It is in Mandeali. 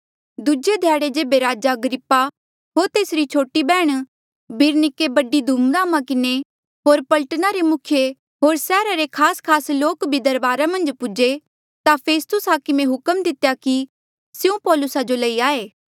दूजे ध्याड़े जेबे राजा अग्रिप्पा होर तेसरी छोटी बैहण बिरनिके बड़ी धूम धामा किन्हें होर पलटना रे मुखिये होर सैहरा रे खासखास लोक भी दरबारा मन्झ पूजे ता फेस्तुस हाकमे हुक्म दितेया कि स्यों पौलुसा जो लई आये